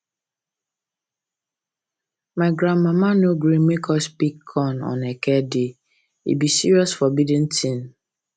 my grandmama no gree make us pick corn on eke day e be serious forbidden tin